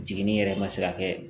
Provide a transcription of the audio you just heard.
Jiginin yɛrɛ ma se ka kɛ